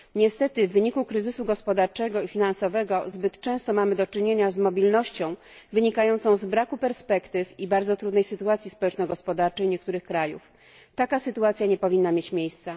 Niestety, w wyniku kryzysu gospodarczego i finansowego, zbyt często mamy do czynienia z mobilnością wynikającą z braku perspektyw i bardzo trudnej sytuacji społeczno gospodarczej niektórych krajów taka sytuacja nie powinna mieć miejsca!